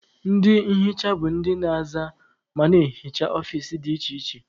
Ndị nhicha bụ ndị na-aza ma na-ehicha ọfici dị iche iche.